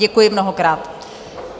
Děkuji mnohokrát.